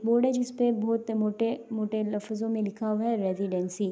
board ہے جسپے موٹے موٹے موٹے لفظو مے لکھا ہوا ہے ریزیڈنسی --